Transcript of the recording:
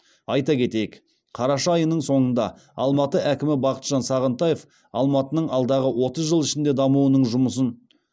айта кетейік қараша айының соңында алматы әкімі бақытжан сағынтаев алматының алдағы отыз жыл ішіндегі дамуының жұмысын